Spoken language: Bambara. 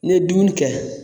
Ne ye dumuni kɛ